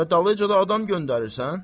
Hələ dalınca da adam göndərirsən.